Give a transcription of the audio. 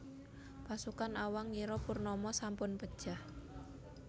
Pasukan Awang ngira Purnama sampun pejah